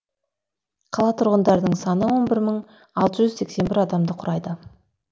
қала тұрғындарының саны он бір мың алты жүз сексен бір адамды құрайды